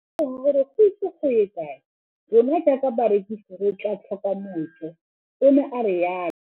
Ke ne ka lemoga gore go ise go ye kae rona jaaka barekise re tla tlhoka mojo, o ne a re jalo.